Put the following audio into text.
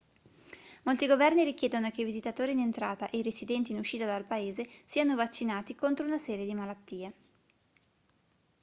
molti governi richiedono che i visitatori in entrata e i residenti in uscita dal paese siano vaccinati contro una serie di malattie